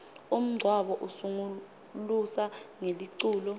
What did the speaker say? umngcabo usungulusa ngeliculo